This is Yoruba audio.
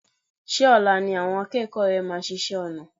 Ṣé ọ̀la ni àwọn akẹ́kọ̀ọ́ rẹ máa ṣiṣẹ́ ọnà?